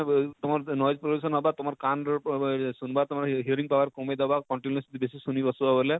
ତମର ତମର ସେ pollution ତମର କାନର ସୁନଵା ଆଃ ଆଃ ତମର urine power କମେଇ ଦେବା continue ବେଶୀ ସୁନି ବସବ ବଇଲେ,